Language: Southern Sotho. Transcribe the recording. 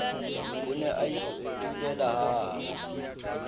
o ne a itulela hahabo